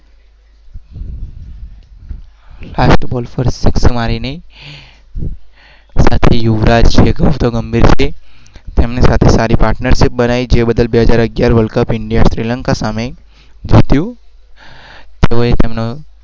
કડફડજફકડસફજ